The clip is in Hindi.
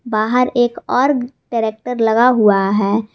बाहर एक और टरैकटर लगा हुआ है।